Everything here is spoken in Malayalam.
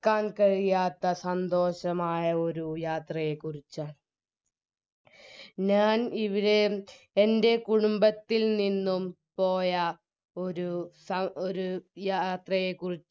ക്കാൻ കഴിയാത്ത സന്തോഷമായ ഒരു യാത്രയെ കുറിച്ചാണ് ഞാൻ ഇവിടെ എൻറെ കുടുംബത്തിൽ നിന്നും പോയ ഒരു സ ഒരു യാത്രയെ കുറി